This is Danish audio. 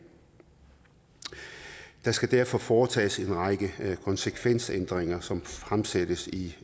der skal derfor foretages en række konsekvensændringer som fremsættes i